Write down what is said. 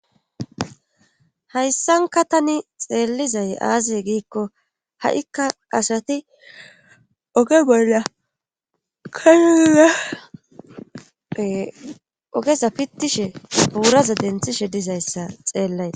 hayssanka tani xeellizay aazee giikko ha7ikka asati oge bolla kayuzae ogesa pitishe puuraza denthishe dizayssa xeellay